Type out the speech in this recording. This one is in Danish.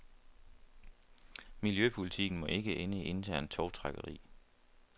Miljøpolitikken må ikke ende i internt tovtrækkeri.